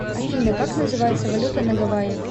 афина как называется валюта на гавайях